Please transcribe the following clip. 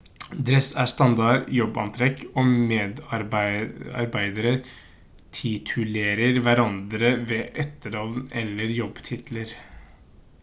dress er standard jobbantrekk og medarbeidere titulerer hverandre ved etternavn eller jobbtitler